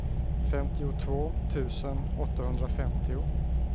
femtiotvå tusen åttahundrafemtio